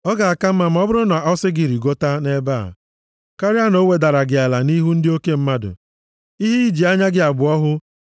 ọ ga-aka mma ma ọ bụrụ na ọ si gị, “Rigota nʼebe a,” karịa na o wedara gị ala nʼihu ndị oke mmadụ. Ihe iji anya gị abụọ hụ